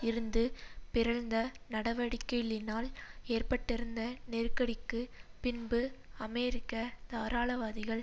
இருந்து பிறழ்ந்த நடவடிக்கைளினால் ஏற்பட்டிருந்த நெருக்கடிக்கு பின்பு அமெரிக்க தாராளவாதிகள்